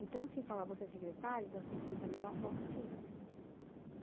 Então, assim, falar você é secretário, então você tem que fazer da melhor forma possível.